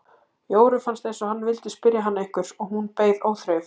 Jóru fannst eins og hann vildi spyrja hana einhvers og hún beið óþreyjufull.